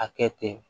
A kɛ ten